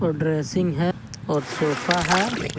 Dressing है और sofa है।